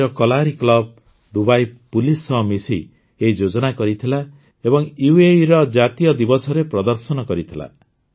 ଦୁବାଇର କଲାରି club Dubai police ସହ ମିଶି ଏହି ଯୋଜନା କରିଥିଲା ଏବଂ ୟୁଏଇର ଜାତୀୟ ଦିବସରେ ପ୍ରଦର୍ଶନ କରିଥିଲା